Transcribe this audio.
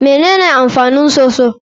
Me amfanin soso?